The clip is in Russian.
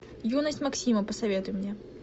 юность максима посоветуй мне